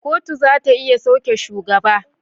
Kotu zata iya sauke shugaba